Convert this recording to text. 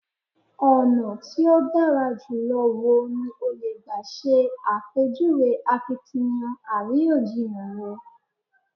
Ọ̀nà tí ó dára jùlọ wo ni o lè gbà ṣe àpèjúwe akiytiyan àríyànjiyàn rẹ?